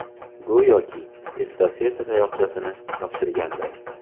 Go‘yoki estafeta tayoqchasini topshirganday.